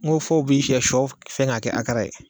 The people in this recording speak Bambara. N ko fɔ b'i sɛ sɔ fɛn k'a kɛ araka ye